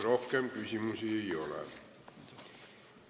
Rohkem küsimusi ei ole.